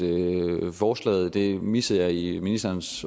forslaget det missede jeg i ministerens